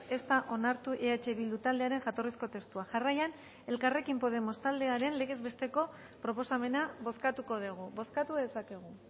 ez da onartu eh bildu taldearen jatorrizko testua jarraian elkarrekin podemos taldearen legez besteko proposamena bozkatuko dugu bozkatu dezakegu